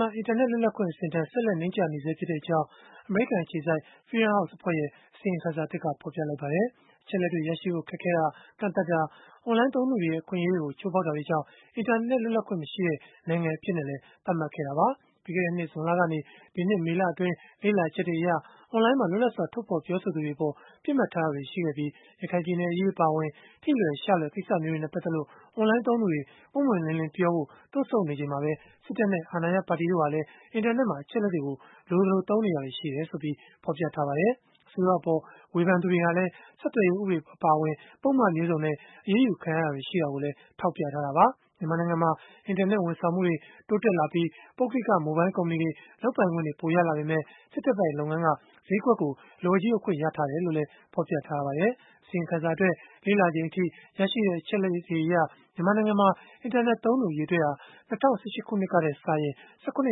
မှာ အင်တာနက် လွတ်လပ်ခွင့်ဟာ ဆက်လက် နိမ့်ကျနေဆဲဖြစ်ကြောင်း အမေရိကန် အခြေစိုက် Freedom House အဖွဲ့ရဲ့ အစီရင်ခံစာသစ်က ဖော်ပြလိုက်ပါတယ်။ အချက်အလက်တွေ ရရှိဖို့ ခက်ခဲတာ၊ ကန့်သတ်တာ၊ အွန်လိုင်းသုံးသူတွေရဲ့ အခွင့်အရေးတွေကို ချိုးဖောက်တာတွေကြောင့် အင်တာနက် လွတ်လပ်ခွင့် မရှိတဲ့ နိုင်ငံအဖြစ်နဲ့လည်း သတ်မှတ်ခဲ့တာပါ။ ပြီးခဲ့တဲ့နှစ် ဇွန်လကနေ ဒီနှစ် မေလအတွင်း လေ့လာချက်တွေအရ အွန်လိုင်းမှာ လွတ်လပ်စွာ ထုတ်ဖော်ပြောဆိုသူတွေအပေါ် ပစ်မှတ်ထားတာတွေ ရှိခဲ့ပြီး ရခိုင်အရေး အပါအဝင် ထိလွယ်ရှလွယ် ကိစ္စမျိုးတွေနဲ့ ပတ်သက်လို့ အွန်လိုင်းသုံးသူတွေ ပွင့်ပွင့်လင်းလင်းပြောဖို့ တွန့်ဆုတ်နေချိန်မှာပဲ စစ်တပ်နဲ့ အာဏာရ ပါတီတို့ဟာလည်း အင်တာနက်မှာ အချက်အလက်တွေကို လိုသလို အသုံးချနေတာတွေ ရှိတယ်လို့လည်း ဖော်ပြထားပါတယ်။ အစိုးရအပေါ် ဝေဖန်သူတွေဟာလည်း ဆက်သွယ်ရေး ဥပဒေအပါအဝင် ပုဒ်မမျိုးစုံနဲ့ အရေးယူခံရတာတွေ ရှိခဲ့တာကိုလည်း ထောက်ပြထားတာပါ။ မြန်မာနိုင်ငံမှာ အင်တာနက် ဝန်ဆောင်မှုတွေ တိုးတက်လာပြီး ပုဂ္ဂိလက မိုဘိုင်းကုမ္ပဏီတွေ လုပ်ပိုင်ခွင့်တွေ ရလာပေမဲ့ စစ်တပ်ပိုင် လုပ်ငန်းက ဈေးကွက်ကို လက်ဝါးကြီးအုပ်ခွင့် ရရှိထားတယ်လို့လည်း ဖော်ပြထားပါတယ်။ အစီရင်ခံစာအတွက် လေ့လာချိန်အထိ ရရှိတဲ့ အချက်အလက်တွေအရ မြန်မာနိုင်ငံမှာ အင်တာနက် သုံးစွဲသူ အရေအတွက်ဟာ ၂၀၁၈ ခုနှစ်ကထက်စာရင် ၁၇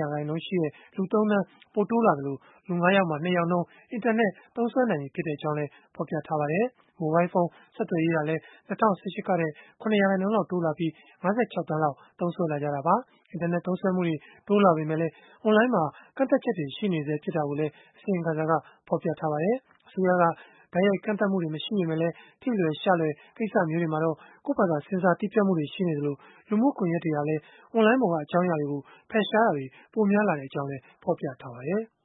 ရာခိုင်နှုန်းရှိတဲ့ လူ ၃ သန်း ပိုတိုးလာသလို လူ ၅ ယောက်မှာ ၂ ယောက်နှုန်း အင်တာနက် သုံးစွဲနိုင်ကြောင်းလည်း ဖော်ပြထားပါတယ်။ မိုဘိုင်းဖုန်း ဆက်သွယ်ရေးဟာလည်း ၂၀၁၈ ကထက် ၇ ရာခိုင်နှုန်းလောက် တိုးလာပြီး ၅၆ သန်းလောက် သုံးစွဲနေကြတာပါ။ အင်တာနက် သုံးစွဲမှုတွေ တိုးလာပေမဲ့လည်း အွန်လိုင်းမှာ ကန့်သတ်ချက်တွေ ရှိနေဆဲ ဖြစ်တာကိုလည်း အစီရင်ခံစာက ဖော်ပြထားပါတယ်။ အစိုးရက တိုက်ရိုက် ကန့်သတ်မှုတွေ မရှိပေမဲ့လည်း ထိလွယ်ရှလွယ် ကိစ္စတွေမှာ ကိုယ့်ဘာသာ ဆင်ဆာတည်းဖြတ်မှုတွေ ရှိနေသလို လူမှုကွန်ရက်တွေဟာလည်း အွန်လိုင်းပေါ်က အကြောင်းအရာတွေကို ဖယ်ရှားတာတွေ ပိုများလာကြောင်းလည်း ဖော်ပြထားပါတယ်။